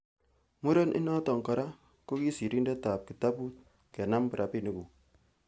muren inoton kora ko sirindetab kitabut'kenam rabinikuk'.